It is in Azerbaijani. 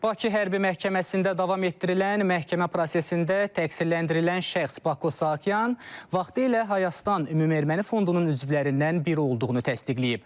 Bakı hərbi məhkəməsində davam etdirilən məhkəmə prosesində təqsirləndirilən şəxs Bako Sakyan vaxtilə Hayastan ümumi erməni fondunun üzvlərindən biri olduğunu təsdiqləyib.